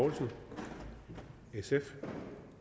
jeg er sikker